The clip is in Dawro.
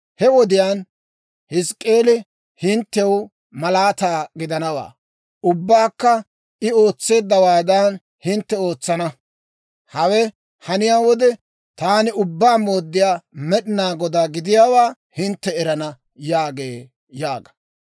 He wodiyaan Hizk'k'eeli hinttew malaataa gidanawaa; ubbabaakka I ootseeddawaadan, hintte ootsana. Hawe haniyaa wode, taani Ubbaa Mooddiyaa Med'inaa Godaa gidiyaawaa hintte erana› yaagee» yaaga.